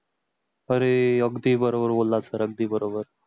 अरे अगदी बरोबर बोललास तर अगदी बरोबर